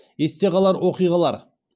есте қалар оқиғалар